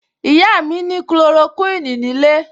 Ìyá mi ní Kulorokíìní nílé